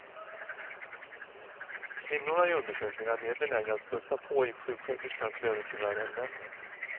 Kvinnorna i undersökningen är mer benägna att plussa på i sjuksköterskans lönekuvert än männen.